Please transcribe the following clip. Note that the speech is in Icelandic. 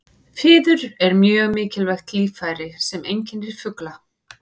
Fiður er mjög mikilvægt líffæri sem einkennir fugla.